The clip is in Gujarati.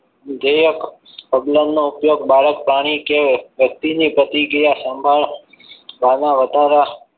ઉદયક પ્રબલન ઉપયોગ બાળક પ્રાણી કે વ્યક્તિની પ્રતિક્રિયા સંભાળવા ના વધારા